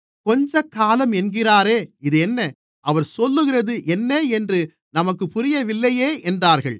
கொஞ்சக்காலம் என்கிறாரே இதென்ன அவர் சொல்லுகிறது என்ன என்று நமக்குப் புரியவில்லையே என்றார்கள்